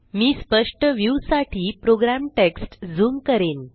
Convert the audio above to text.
मी स्पष्ट व्ह्यूसाठी प्रोग्रामटेक्ष्टझूम करीन